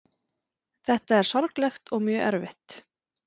Þetta er sorglegt og mjög erfitt